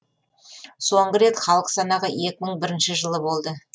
соңғы рет халық санағы жылы болды